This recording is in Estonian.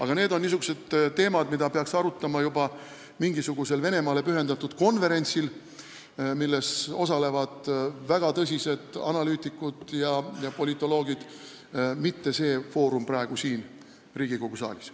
Kuid need on niisugused teemad, mida peaks arutama juba mingisugusel Venemaale pühendatud konverentsil, milles osalevad väga tõsised analüütikud ja politoloogid, mitte see foorum praegu Riigikogu saalis.